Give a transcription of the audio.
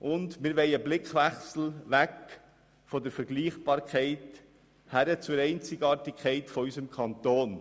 Wir wollen einen Blickwechsel weg von der Vergleichbarkeit hin zur Einzigartigkeit unseres Kantons.